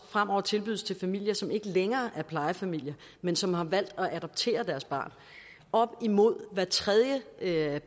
fremover tilbydes til familier som ikke længere er plejefamilier men som har valgt at adoptere deres barn op imod hver tredje